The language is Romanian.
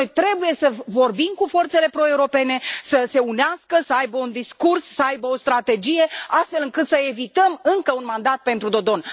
Noi trebuie să vorbim cu forțele pro europene să se unească, să aibă un discurs, să aibă o strategie astfel încât să evităm încă un mandat pentru Dodon.